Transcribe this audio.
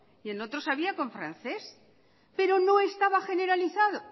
y en otros había con francés pero no estaba generalizado